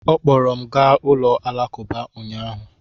Ọ kpọọrọ m gaa ụlọ alakụba ụnyahụ.